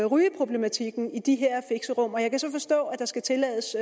rygeproblematikken i de her fixerum jeg kan så forstå at der skal tillades